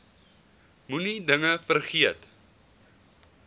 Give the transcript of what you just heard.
moenie dinge vergeet